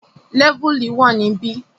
Lẹ́vùlì wà níbi